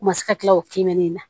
U ma se ka tila o kemɛ na